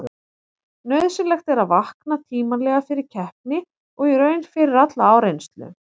Nauðsynlegt er að vakna tímanlega fyrir keppni og í raun fyrir alla áreynslu.